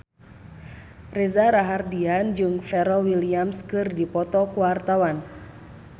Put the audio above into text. Reza Rahardian jeung Pharrell Williams keur dipoto ku wartawan